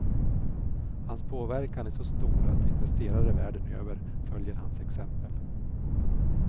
Hans påverkan är så stor att investerare världen över följer hans exempel.